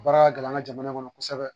Baara ka gɛlɛn an ka jamana kɔnɔ kosɛbɛ.